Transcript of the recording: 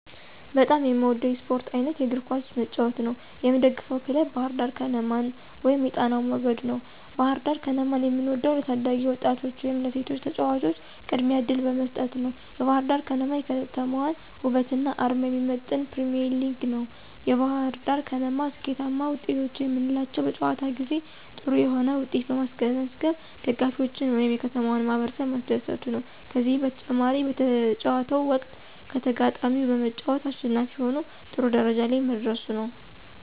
በጣም የምወደው የስፖርት አይነት የእግር ኳስ መጫወት ነው። የምደግፈው ክለብ ባህርዳር ከነማን ወይም የጣናው መገድ ነው። ባህርዳር ከነማን የምወደው ለታዳጊ ወጣቶች ወይም ለሴቶች ተጫዋቾች ቅድሚያ እድል በመስጠት ነዉ። የባህርዳር ከነማ የከተማዋን ወበትና አርማ የሚመጥን ፕሪሚዬርሊግ ነው። የባህርዳር ከነማ ስኬታማ ወጤቶች የምንላቸው በጨዋታ ጊዜ ጥሩ የሆነ ዉጤት በማስመዝገብ ደጋፊዎችን ወይም የከተማውን ማህበረሰብ ማስደሰቱ ነዉ። ከዚህም በተጨማሪ በጨዋታው ወቅት ከተጋጣሚው በመጫወት አሸናፊ ሁኖ ጥሩ ደረጃ ላይ መድረሱ ነው።